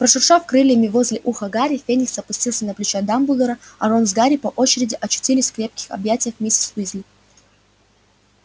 прошуршав крыльями возле уха гарри феникс опустился на плечо дамблдора а рон с гарри по очереди очутились в крепких объятиях миссис уизли